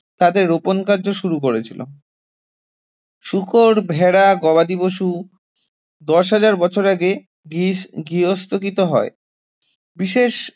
তাদের রোপণ কার্য শুরু করেছিল শূকর, ভেড়া, গবাদি পশু দশ হাজার বছর আগে গার্হ~ গার্হস্থ্যকৃত হয় বিশেষ